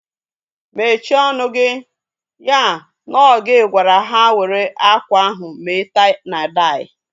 Mechie ọnụ gị! Ya na ọ gị gwara ha were akwa ahụ mee tai na dai